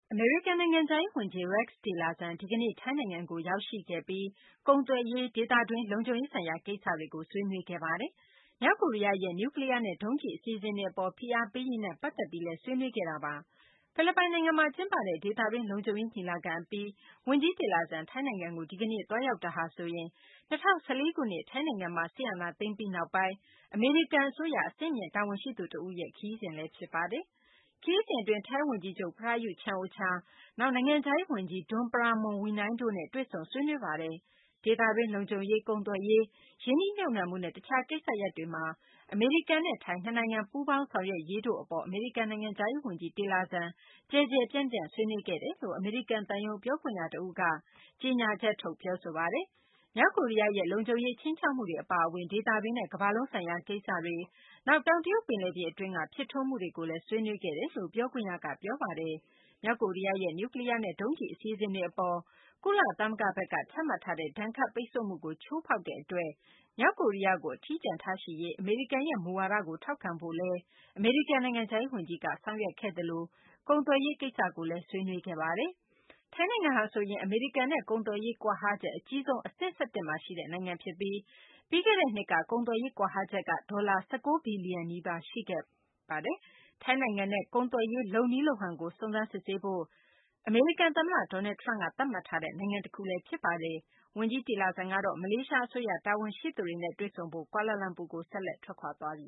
အမေရိကန် နိုင်ငံခြားရေး ဝန်ကြီး Rex Tillerson ဒီကနေ့ ထိုင်းနိုင်ငံကို ရောက်ရှိပြီး ကုန်သွယ်ရေး၊ ဒေသတွင်း လုံခြုံရေးဆိုင်ရာ ကိစ္စတွေကို ဆွေးနွေးခဲ့ပါတယ်။ မြောက်ကိုရီးယားရဲ့ နျူးကလီးယားနဲ့ ဒုံးကျည် အစီအစဉ်တွေ အပေါ် ဖိအားပေးရေးနဲ့ ပတ်သက်ပြီးလည်း ဆွေးနွေးပြောဆိုခဲ့တာပါ။ ဖိလစ်ပိုင်နိုင်ငံမှာ ကျင်းပတဲ့ ဒေသတွင်း လုံခြုံရေး ညီလာခံ အပြီး ဝန်ကြီး Tillerson ထိုင်းနိုင်ငံကို ဒီကနေ့ သွားရောက်တာဟာဆိုရင် ၂၀၁၄ ခုနှစ် ထိုင်းနိုင်ငံမှာ စစ်အာဏာသိမ်းပြီး နောက်ပိုင်း အမေရိကန် အစိုးရ အဆင်မြင့် တာဝန်ရှိသူ တဦးရဲ့ ခရီးစဉ်လည်း ဖြစ်ပါတယ်။ ခရီးစဉ် အတွင်း ထိုင်းဝန်ကြီးချုပ် Prayuth Chan-ocha ၊ နောက် နိုင်ငံခြားရေး ဝန်ကြီး Don Pramudwinai တို့နဲ့ တွေ့ဆုံ ဆွေးနွေးခဲ့ပါတယ်။ ဒေသတွင်း လုံခြုံရေး၊ ကုန်သွယ်ရေး၊ ရင်းနှီးမြှုပ်နှံမှုနဲ့ တခြားကိစ္စရပ်တွေမှာ အမေရိကန်နဲ့ ထိုင်း နှစ်နိုင်ငံ ပူးပေါင်းဆောင်ရွက်ရေးတို့ိကို အမေရိကန် နိုင်ငံခြားရေး ဝန်ကြီး Tillerson ကျယ်ကျယ်ပြန့်ပြန့် ဆွေးနွေးခဲ့တယ်လို့ အမေရိကန် သံရုံး ပြောခွင့်ရ တဦးက ကြေညာချက်ထုတ် ပြောဆိုပါတယ်။ မြောက်ကိုရီးယားရဲ့ လုံခြုံရေး ခြိမ်းခြောက်မှုတွေ အပါအဝင် ဒေသတွင်းနဲ့ ကမ္ဘာလုံးဆိုင်ရာ ကိစ္စတွေ၊ နောက် တောင်တရုတ် ပင်လယ်ပြင် အတွင်းက ဖြစ်ထွန်းမှုတွေကိုလည်း ဆွေးနွေးခဲ့တယ်လို့လည်း ပြောခွင့်ရက ပြောပါတယ်။ မြောက်ကိုရီးယားရဲ့ နျူးကလီးယားနဲ့ ဒုံးကျည် အစီအစဉ်တွေအပေါ် ကုလသမဂ္ဂဘက်က ချမှတ်ထားတဲ့ ဒဏ်ခတ်ပိတ်ဆို့မှုကို ချိုးဖောက်တဲ့ အတွက် မြောက်ကိုရီးယားကို အထီးကျန်ထားရှိရေး အမေရိကန်ရဲ့ မူဝါဒကို ထောက်ခံဖို့လည်း အမေရိကန် နိုင်ငံခြားရေး ဝန်ကြီးက ဆောင်ရွက်ခဲ့သလို ကုန်သွယ်ရေး ကိစ္စကိုလည်း ဆွေးနွေးခဲ့ပါတယ်။ ထိုင်းနိုင်ငံဟာဆိုရင် အမေရိကန်နဲ့ ကုန်သွယ်ရေး ကွာဟချက် အကြီးဆုံး အဆင့် ၁၁မှာ ရှိတဲ့ နိုင်ငံဖြစ်ပြီး ပြီးခဲ့တဲ့နှစ်က ကုန်သွယ်ရေး ကွာဟချက်က ဒေါ်လာ ၁၉ ဘီလီယံ နီးပါး ရှိခဲ့ပြီး ထိုင်းနိုင်ငံနဲ့ ကုန်သွယ်ရေး လုပ်နည်းလုပ်ဟန်ကို စုံစမ်းစစ်ဆေးဖို့ အမေရိကန် သမ္မတ Doanld Trump က သတ်မှတ်ထားတဲ့ နိုင်ငံတခု ဖြစ်ပါတယ်။ ဝန်ကြီး Tillerson က မလေးရှား အစိုးရ တာဝန်ရှိသူတွေနဲ့ တွေ့ဆုံဖို့ ကွာလာလမ်ပူကို ဆက်လက် ထွက်ခွာသွားပ